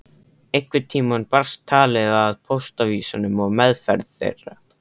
Einhvern tíma barst talið að póstávísunum og meðferð þeirra.